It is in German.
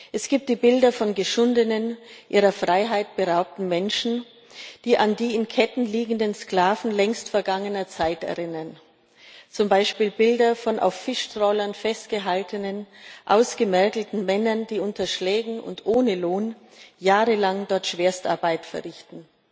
Es gibt die Bilder von geschundenen, ihrer Freiheit beraubten Menschen, die an die in Ketten liegenden Sklaven längst vergangener Zeit erinnern, zum Beispiel Bilder von auf Fischtrawlern festgehaltenen, ausgemergelten Männern, die unter Schlägen und ohne Lohn jahrelang dort Schwerstarbeit verrichten.